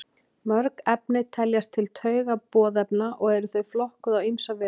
Mörg efni teljast til taugaboðefna og eru þau flokkuð á ýmsa vegu.